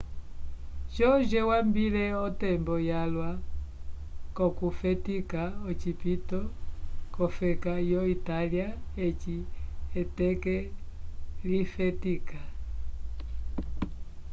jorge wambile otembo yalwa k'okufetika ocipito k'ofeka yo itália eci eteke lifetika